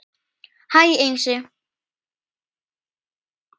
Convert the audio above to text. Hæ Einsi